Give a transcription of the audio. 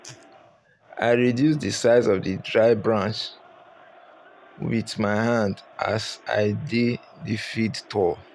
i reduce the size of the dry branc with my hand as i dey the field tour